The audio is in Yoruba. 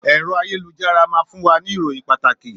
Èrò àyélujárá máa fún wa ní ìròyìn pàtàkì